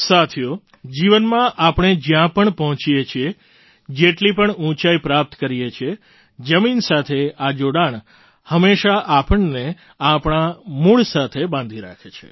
સાથીઓ જીવનમાં આપણે જ્યાં પણ પહોંચીએ છીએ જેટલી પણ ઊંચાઈ પ્રાપ્ત કરીએ છીએ જમીન સાથે આ જોડાણ હંમેશાં આપણને આપણાં મૂળ સાથે બાંધી રાખે છે